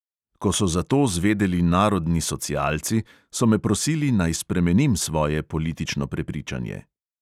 Ko so za to zvedeli narodni socialci, so me prosili, naj spremenim svoje politično prepričanje.